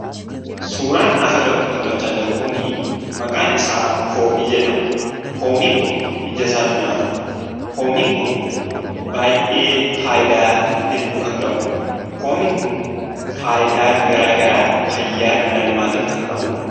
Suuraan as irratti mul'achaa jiru kunii maqaan isaa poomii jedhama. Poomiin kun ijasaaatu nyaatama. Poomiin kun baay'ee faayidaa hedduu kan qabudha. Poomiin kun faayidaa garagaraa fayyaa dhala namataif kan qabudha.